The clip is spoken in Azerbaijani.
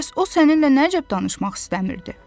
Bəs o səninlə nə cəb danışmaq istəmirdi?